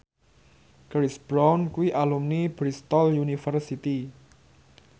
Chris Brown kuwi alumni Bristol university